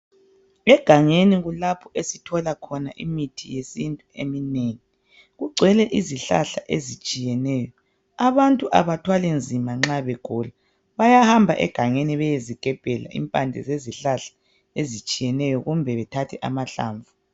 Egangeni kulapho esithola khona imithi yesintu eminengi. Kugcwele izihlahla ezitshiyeneyo, abantu abathwali nzima nxa begula. Bayahamba egangeni beyezigebhela impande zezihlahla ezitshiyeneyo kumbe bethathe amahlamvu.